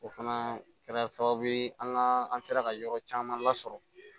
O fana kɛra sababu ye an ka an sera ka yɔrɔ caman lasɔrɔ